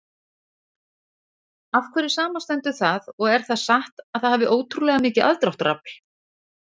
Af hverju samanstendur það og er það satt að það hafi ótrúlega mikið aðdráttarafl?